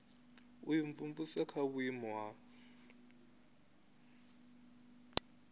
u imvumvusa kha vhuimo ha